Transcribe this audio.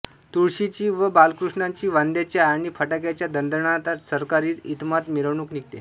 तुळशीची व बाळकृष्णाची वाद्यांच्या आणि फटाक्यांच्या दणदणाटात सरकारी इतमामात मिरवणूक निघते